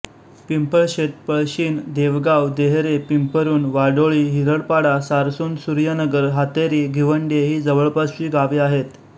पिंपळशेत पळशीण देवगाव देहरे पिंपरुण वाडोळी हिरडपाडा सारसुणसूर्यनगर हातेरी घिवंडे ही जवळपासची गावे आहेत